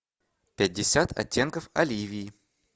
пятьдесят оттенков оливии